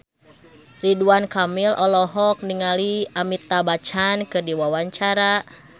Ridwan Kamil olohok ningali Amitabh Bachchan keur diwawancara